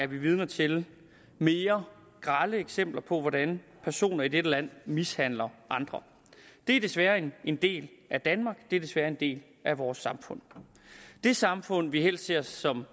vidne til mere grelle eksempler på hvordan personer i dette land mishandler andre det er desværre en del af danmark det er desværre en del af vores samfund det samfund som vi helst ser som